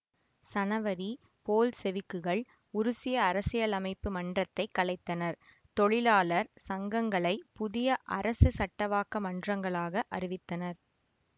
சனவரி போல்செவிக்குகள் உருசிய அரசியலமைப்பு மன்றத்தைக் கலைத்தனர் தொழிலாளர் சங்கங்களை புதிய அரசு சட்டவாக்க மன்றங்களாக அறிவித்தனர்